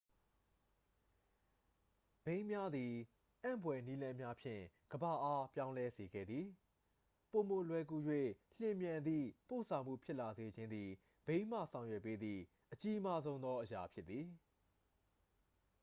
ဘီးများသည် အံ့ဖွယ်နည်းလမ်းများဖြင့် ကမ္ဘာအား ပြောင်းလဲစေခဲ့သည့် ပိုမိုလွယ်ကူ၍ မြန်ဆန်သည့် ပို့ဆောင်မှုဖြစ်လာစေခြင်းသည် ဘီးမှ ဆောင်ရွက်ပေးသည့် အကြီးမားဆုံးသော အရာ ဖြစ်သည်